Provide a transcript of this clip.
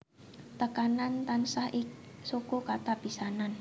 Tekanan tansah ing suku kata pisanan